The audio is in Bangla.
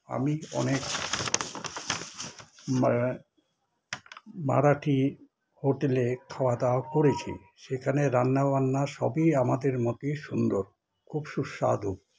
আমি অনেক মারা মারাঠী হোটেলে খাওয়া দাওয়া করেছি সেখানে রান্না বান্না সবই আমাদের মতই সুন্দর খুব সুস্বাদু